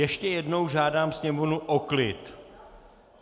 Ještě jednou žádám sněmovnu o klid!